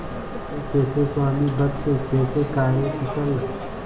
वे कैसे स्वामिभक्त कैसे कार्यकुशल